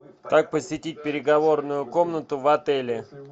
как посетить переговорную комнату в отеле